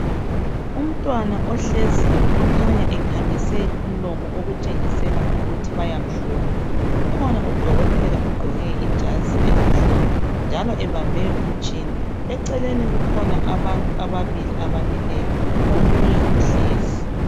Umntwana ohleziyo okhanya ekhamise umlomo okutshengisela ukuthi bayamhlola ukhona udokotela ogqoke ijazi elimhlophe njalo ebambe umtshina eceleni kukhona abantu ababili abamileyo omunye uhlezi.